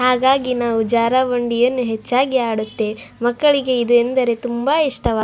ಹಾಗಾಗಿ ನಾವು ಜಾರಬಂಡಿಯನ್ನು ಹೆಚ್ಚಾಗಿ ಆಡುತ್ತೇವೆ. ಮಕ್ಕಳಿಗೆ ಇದು ಎದೆಂದರೆ ತುಂಬ ಇಷ್ಟಾ --